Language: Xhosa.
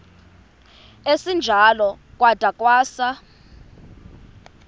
esinjalo kwada kwasa